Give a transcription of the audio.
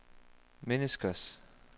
menneskers